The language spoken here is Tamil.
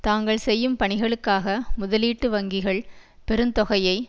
தாங்கள் செய்யும் பணிகளுக்காக முதலீட்டு வங்கிகள் பெருந்தொகையை